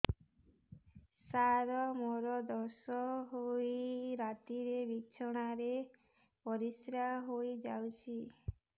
ସାର ମୋର ଦୋଷ ହୋଇ ରାତିରେ ବିଛଣାରେ ପରିସ୍ରା ହୋଇ ଯାଉଛି